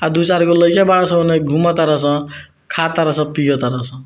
आ दू-चार गो लईका बरड़सन घुमा तारसं खा तरसं पियअ तारसं।